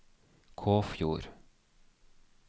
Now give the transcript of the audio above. Kåfjord